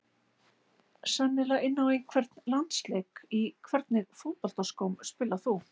Sennilega inn á einhvern landsleik Í hvernig fótboltaskóm spilar þú?